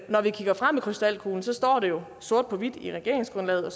krystalkuglen står det jo sort på hvidt i regeringsgrundlaget og